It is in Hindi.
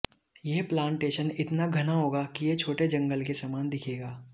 यह प्लांटेशन इतना घना होगा कि यह छोटे जंगल के समान दिखेगा